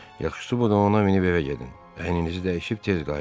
Yaxşıdır, bu da ona minib evə gedin, əyninizi dəyişib tez qayıdın.